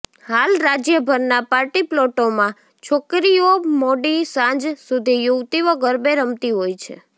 હાલ રાજ્યભરના પાટીપ્લોટોમાં છોકરીઓ મોડી સાંજ સુધી યુવતીઓ ગરબે રમતી હોય છે